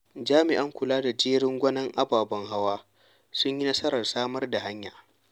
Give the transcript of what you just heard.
Jami'an kula da jerin-gwanon ababen hawa sun yi nasarar samar da hanyar.